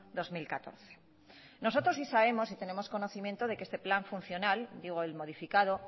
dos mil catorce nosotros sí sabemos y tenemos conocimiento de que este plan funcional digo el modificado